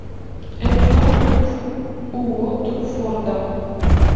эвертон против уотфорда